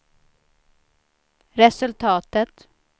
resultatet